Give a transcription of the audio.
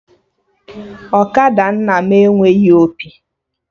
Ọkada nna m enweghị opi